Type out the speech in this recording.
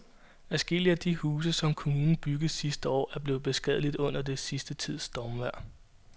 Adskillige af de huse, som kommunen byggede sidste år, er blevet beskadiget under den sidste tids stormvejr.